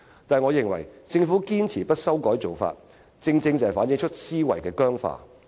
不過，我認為政府堅持不修改做法，正正反映出其思維僵化。